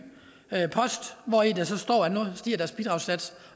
post hvori der så står at nu stiger deres bidragssats